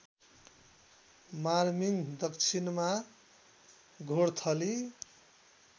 मार्मिङ दक्षिणमा घोर्थली